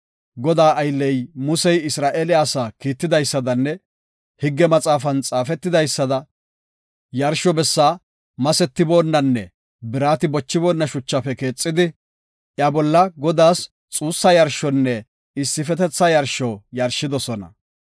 Godaa aylley Musey Isra7eele asaa kiitidaysadanne higge maxaafan xaafetidaysada, yarsho bessaa masetiboonnanne birati bochiboona shuchafe keexidi, iya bolla Godaas xuussa yarshonne issifetetha yarsho yarshidosona.